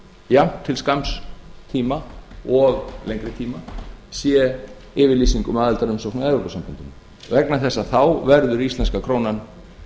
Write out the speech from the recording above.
jafnt til sanns tíma og lengri tíma sé yfirlýsing um aðildarumsókn að evrópusambandinu vegna þess að þá verður íslenska krónan